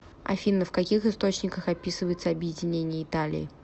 афина в каких источниках описывается объединение италии